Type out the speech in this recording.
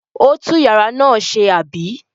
Ó tú ìyàrá náà ṣe, àbí?